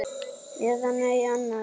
Eða nei annars.